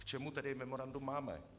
K čemu tedy memorandum máme?